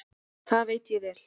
Það veit ég vel.